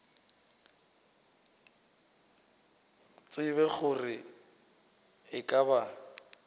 tsebe gore e ka ba